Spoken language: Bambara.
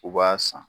U b'a san